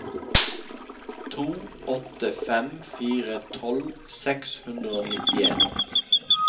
to åtte fem fire tolv seks hundre og nittien